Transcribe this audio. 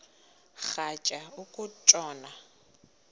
rhatya uku tshona